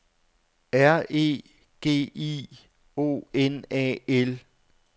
R E G I O N A L